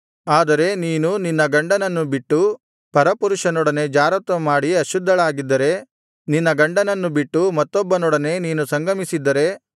ಆದರೆ ನೀನು ನಿನ್ನ ಗಂಡನನ್ನು ಬಿಟ್ಟು ಪರಪುರುಷನೊಡನೆ ಜಾರತ್ವಮಾಡಿ ಅಶುದ್ಧಳಾಗಿದ್ದರೆ ನಿನ್ನ ಗಂಡನನ್ನು ಬಿಟ್ಟು ಮತ್ತೊಬ್ಬನೊಡನೆ ನೀನು ಸಂಗಮಿಸಿದ್ದರೆ